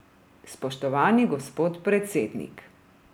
Spoštovani gospod predsednik!